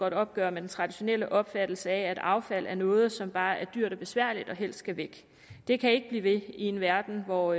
et opgør med den traditionelle opfattelse af at affald er noget som bare er dyrt og besværligt og helst skal væk det kan ikke blive ved i en verden hvor